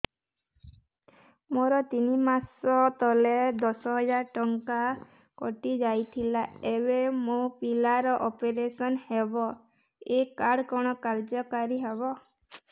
ମୋର ତିନି ମାସ ତଳେ ଦଶ ହଜାର ଟଙ୍କା କଟି ଯାଇଥିଲା ଏବେ ମୋ ପିଲା ର ଅପେରସନ ହବ ଏ କାର୍ଡ କଣ କାର୍ଯ୍ୟ କାରି ହବ